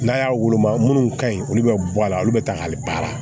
N'a y'a woloma minnu ka ɲi olu bɛ bɔ a la olu bɛ ta k'a baara